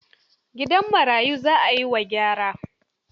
Gidan marayun za a yi wa gyara.